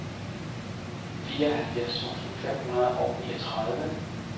fireoghalvfjerds tusind fem hundrede og niogtredive